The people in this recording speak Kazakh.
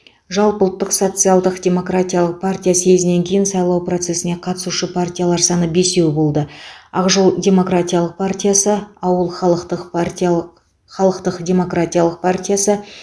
жалпыұлттық социал демократиялық партия съезінен кейін сайлау процесіне қатысушы партиялар саны бесеу болды ақ жол демократиялық партиясы ауыл халықтық партиялық халықтық демократиялық партиясы